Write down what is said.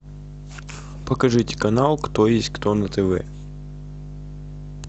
покажите канал кто есть кто на тв